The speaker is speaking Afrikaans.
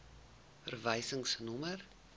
verwysingsnommer